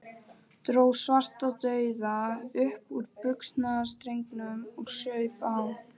Dró Svartadauða upp úr buxnastrengnum og saup á.